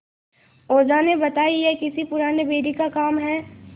ओझा ने बताया यह किसी पुराने बैरी का काम है